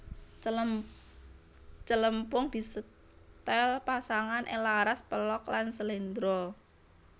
Celempung disetel pasangan ing laras pelog lan slendro